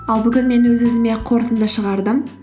ал бүгін мен өз өзіме қорытынды шығардым